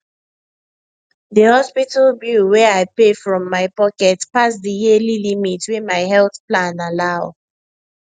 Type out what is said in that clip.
the hospital bill wey i pay from my pocket pass the yearly limit wey my health plan allow